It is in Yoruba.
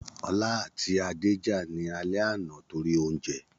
Ọlá àti Adé jà ní alẹ́ àná torí oúnjẹ